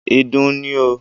Ìdun ni o.